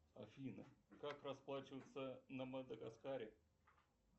афина как расплачиваться на мадагаскаре